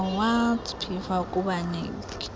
awards pfa kubaniki